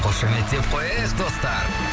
қошеметтеп қояйық достар